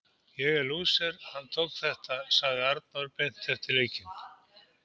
Ég er lúser, hann tók þetta sagði Arnór beint eftir leikinn.